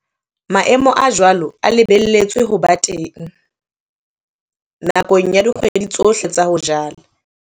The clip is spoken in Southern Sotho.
Maemo a jwalo a lebelletswe ho ba teng nakong ya dikgwedi tsohle tsa ho jala.